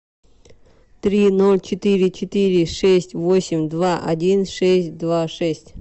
три ноль четыре четыре шесть восемь два один шесть два шесть